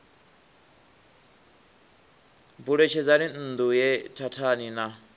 buletshedzani nṋdu ye thathani na